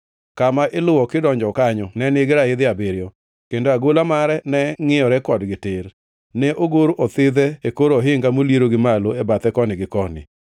Kama iluwo kidonjo kanyo ne nigi raidhi abiriyo, kendo agola mare ne ngʼiyore kodgi tir. Ne ogor othidhe e kor ohinga moliero gi malo e bathe koni gi koni.